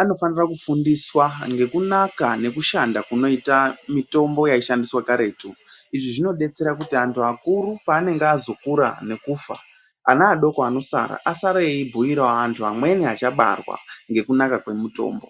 anofanira kufundiswa ngekunaka ngekushanda kunoita mitombo yaishandiswa karetu izvi zvinodetsera kuti antu akuru panenge azokura nekufa ana adoko anosara asare eibhuira antu amweni achabarwa ngekunaka kwemutombo.